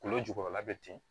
Kolo jukɔrɔla bɛ ten